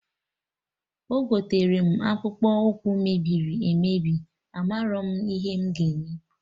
Egotere m akpụkpụ ụkwụ mebiri emebi,a marọ m ihe m ga eme